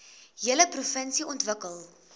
hele provinsie ontwikkel